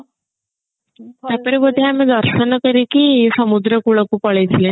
ଠାକୁର ବୋଧେ ଆମେ ଦର୍ଶନ କରିକି ସମୁଦ୍ର କୁଳକୁ ପଳେଈ ଥିଲେ ନାଇଁ